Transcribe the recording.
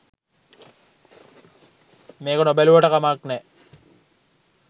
මේක නොබැලුවට කමක් නෑ.